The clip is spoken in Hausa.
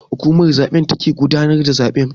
Hukumar zaben take gudanar da zabe.